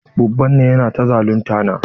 Babban nan yana ta zalunta na.